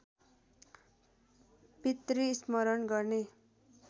पितृ स्मरण गर्ने